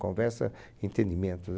Conversa, entendimentos.